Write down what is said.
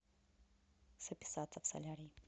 записаться в солярий